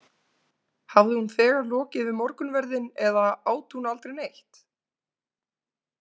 Hafði hún þegar lokið við morgunverðinn eða át hún aldrei neitt?